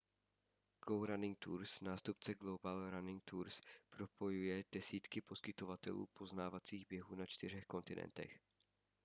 go running tours nástupce global running tours propojuje desítky poskytovatelů poznávacích běhů na čtyřech kontinentech